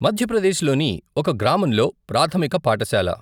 మధ్యప్రదేశ్ లోని ఒక గ్రామంలో ప్రాథమిక పాఠశాల.